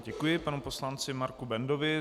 Děkuji panu poslanci Marku Bendovi.